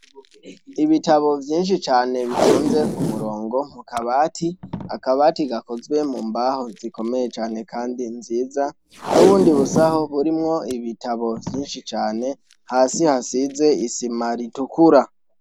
Ibitabo vyinshi cane bitonze kumurongo kukabati, akabati gakozwe mumbaho zikomeye cane kandi nziza, n' ubundi busaho burimwo ibitabo vyinshi cane hasi hasize isima ritukura.